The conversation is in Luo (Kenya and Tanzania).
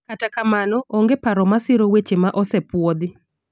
kata kamano, onge paro masiro wechego ma osepuodhi